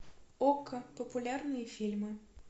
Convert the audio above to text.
окко популярные фильмы